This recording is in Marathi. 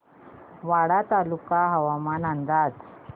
वाडा तालुका हवामान अंदाज